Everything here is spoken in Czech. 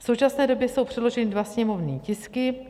V současné době jsou předloženy dva sněmovní tisky.